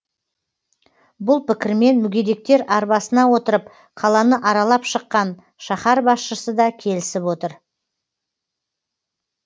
бұл пікірмен мүгедектер арбасына отырып қаланы аралап шыққан шаһар басшысы да келісіп отыр